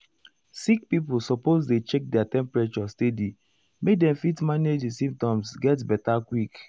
sick pipo suppose dey check their temperature steady make dem fit manage di symptoms get beta quick.